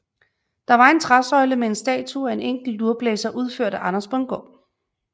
Det var en træsøjle med en statue af en enkelt lurblæser udført af Anders Bundgaard